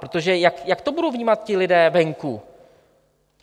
Protože jak to budou vnímat ti lidé venku?